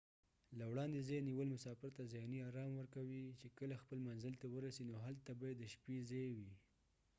له وړاندې ځای نیول مسافر ته ذهني آرام ورکوي چې کله خپل منزل ته ورسي نو هلته به يې د شپې ځای وي